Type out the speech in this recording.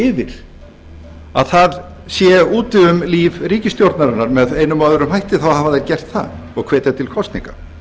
yfir að það sé úti um líf ríkisstjórnarinnar með einum eða öðrum hætti þá hafa þeir gert það og hvetja til kosninga